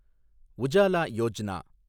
Ujala Yojana